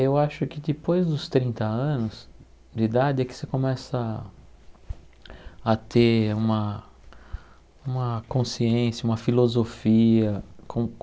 Eu acho que depois dos trinta anos de idade é que você começa a ter uma uma consciência, uma filosofia com.